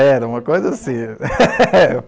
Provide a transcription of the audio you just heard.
Era uma coisa assim.